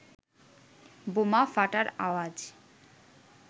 বোমা ফাটার আওয়াজ